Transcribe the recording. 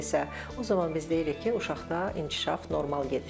o zaman biz bilirik ki, uşaqda inkişaf normal gedir.